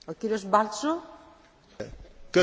Köszönöm a megszólalás lehetőségét.